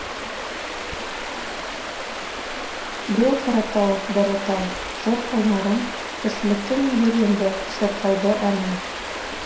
беу қаратау дара тау жыр қайнарым тіршіліктің ел енді шырқайды әнін